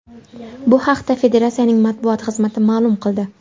Bu haqda Federatsiyaning matbuot xizmati ma’lum qildi.